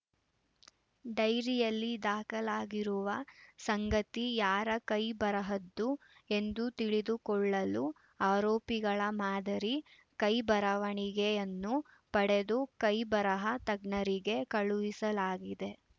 ಡೈರಿಯಲ್ಲಿ ದಾಖಲಾಗಿರುವ ಸಂಗತಿ ಯಾರ ಕೈಬರಹದ್ದು ಎಂದು ತಿಳಿದುಕೊಳ್ಳಲು ಆರೋಪಿಗಳ ಮಾದರಿ ಕೈಬರವಣಿಗೆಯನ್ನು ಪಡೆದು ಕೈಬರಹ ತಜ್ಞರಿಗೆ ಕಳುಹಿಸಲಾಗಿದೆ